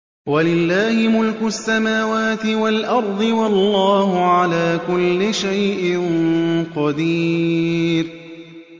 وَلِلَّهِ مُلْكُ السَّمَاوَاتِ وَالْأَرْضِ ۗ وَاللَّهُ عَلَىٰ كُلِّ شَيْءٍ قَدِيرٌ